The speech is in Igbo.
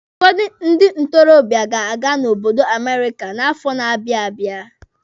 Ụfọdụ ndị ntorobịa ga-aga n'obodo Amerika n'afọ na-abịa abịa.